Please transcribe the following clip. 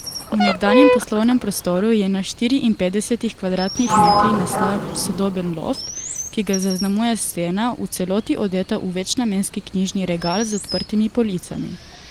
V nekdanjem poslovnem prostoru je na štiriinpetdesetih kvadratnih metrih nastal sodoben loft, ki ga zaznamuje stena, v celoti odeta v večnamenski knjižni regal z odprtimi policami.